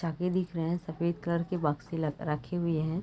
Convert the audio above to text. दिख रहे है सफ़ेद कलर के बोक्से रखे हुए है।